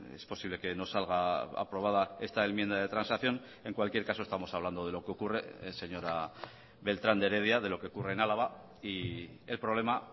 es posible que no salga aprobada esta enmienda de transacción en cualquier caso estamos hablando de lo que ocurre señora beltrán de heredia de lo que ocurre en álava y el problema